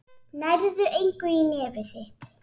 Nærðu engu í nefið þitt.